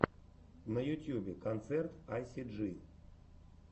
на ютьюбе концерт айсиджи